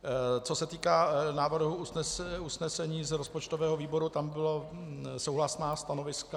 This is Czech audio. Co se týká návrhu usnesení z rozpočtového výboru, tam byla souhlasná stanoviska.